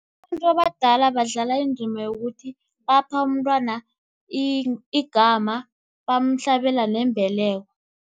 Abantu abadala badlala indima yokuthi, bapha umntwana igama bamhlabela nembeleko.